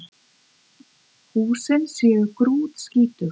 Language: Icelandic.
Húsin séu grútskítug